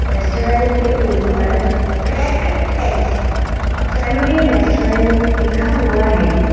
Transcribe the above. Restaurant के ऊपर cracked eggs a family restaurant लिखा हुआ हैं।